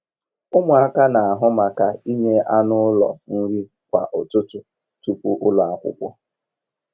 Ụmụaka n'ahụ maka inye anụ ụlọ nri kwa ụtụtụ tupu ụlọ akwụkwọ.